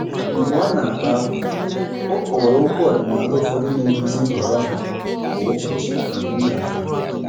Mgbe ọ na-akpa ákwà, ọ kọwara okwu ọdịnala ụfọdụ na-eduzi nhọrọ ha kwa ụbọchị n'omenala ya.